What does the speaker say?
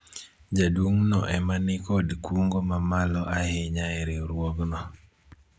jaduong'no ema nikod kungo mamalo ahinya e riwruogno